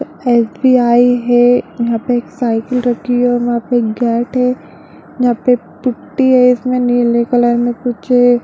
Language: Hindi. एस.बी.आई. है यहाँ पे एक साइकिल रखी है यहाँ पे एक गेट है यहाँ पे पुटटी है इसमें नीले कलर मे कुछ --